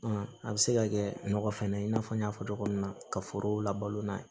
a bɛ se ka kɛ nɔgɔ fɛnɛ i n'a fɔ n y'a fɔ cogo min na ka forow labalo n'a ye